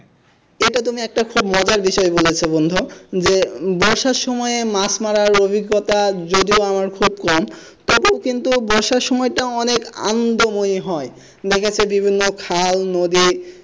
এটা তুমি একটা খুব মজার বিষয় বলেছো বন্ধু যে বর্ষার সময়ে মাছ মারার অভিজ্ঞতা যদিও আমার খুব কম তবে কিন্তু বর্ষার সময়ও অনেক আনন্দময়ী হয় বিভিন্ন খাল নদী,